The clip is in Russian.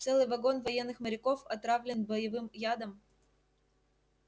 целый вагон военных моряков отравлен боевым ядом